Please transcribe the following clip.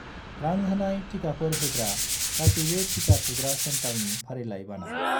रां होनाय टिकाफोर होग्रा गासैबो टिका थुग्रा सेन्टारनि फारिलाइ बानाय।